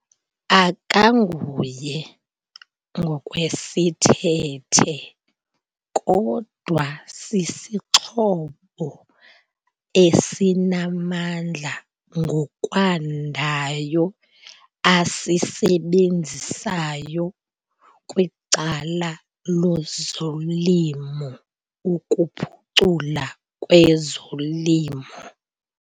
Akanguye ngokwesithethe kodwa sisixhobo esinamandla ngokwandayo asisebenzisayo kwicala lozolimo ukuphucula kwezolimo.